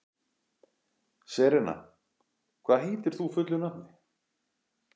Serena, hvað heitir þú fullu nafni?